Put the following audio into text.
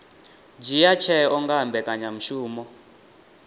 dzhia tsheo nga ha mbekanyamushumo